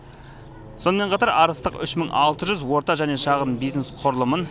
сонымен қатар арыстық үш мың алты жүз орта және шағын бизнес құрылымын